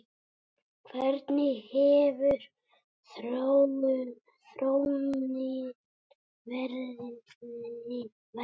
Hvernig hefur þróunin verið?